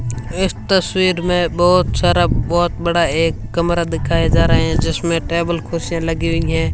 इस तस्वीर में बहुत सारा बहोत बड़ा एक कमरा दिखाए जा रहे है जिसमें टेबल कुर्सियां लगी हुई है।